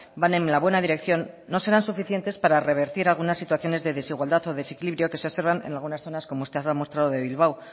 va en la buena dirección no serán suficientes para revertir algunas situaciones de desigualdad o desequilibrio que se observan en algunas zonas como usted ha demostrado de bilbao